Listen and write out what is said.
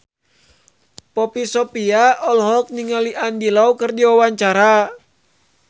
Poppy Sovia olohok ningali Andy Lau keur diwawancara